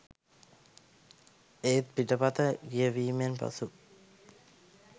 ඒත් පිටපත කියවීමෙන් පසු